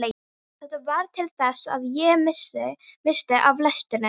Þetta varð til þess að ég missti af lestinni.